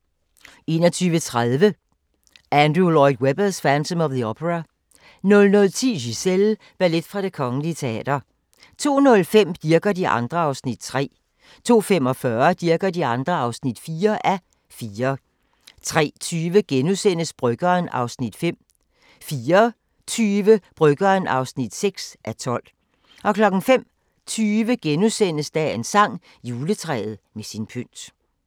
21:30: Andrew Lloyd Webbers: Phantom of the Opera 00:10: Giselle – ballet fra Det Kgl. Teater 02:05: Dirch og de andre (3:4) 02:45: Dirch og de andre (4:4) 03:20: Bryggeren (5:12)* 04:20: Bryggeren (6:12) 05:20: Dagens sang: Juletræet med sin pynt *